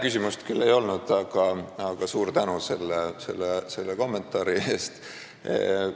Küsimust ei olnud, aga suur tänu selle kommentaari eest!